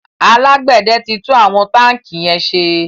alágbède tí tún àwọn tanki yén ṣe